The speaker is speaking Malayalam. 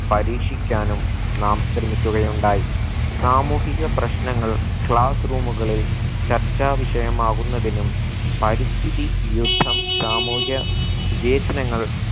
പരീക്ഷിക്കാനും നാം ശ്രമിക്കുകയുണ്ടായി സാമൂഹിക പ്രശ്നങ്ങൾ class room കളിൽ ചർച്ചാ വിഷയമാകുന്നതിനും പരിസ്ഥിതി യുദ്ധം സാമൂഹ്യ വിവേചനങ്ങൾ